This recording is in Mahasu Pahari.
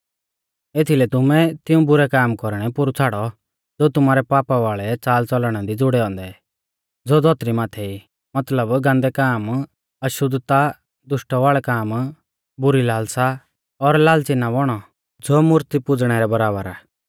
एथीलै तुमै तिऊं बुरै काम कौरणै पोरु छ़ाड़ौ ज़ो तुमारै पाप वाल़ै च़ालच़लणा दी ज़ुड़ै औन्दै ज़ो धौतरी माथै ई मतलब गान्दै काम अशुद्धता दुष्टवाल़ै काम बुरी लालसा और लाल़च़ी ना बौणौ ज़ो मूर्ती पुज़णै रै बराबर आ